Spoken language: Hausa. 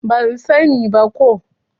Ban sa ni ba ko